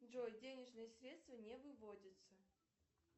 джой денежные средства не выводятся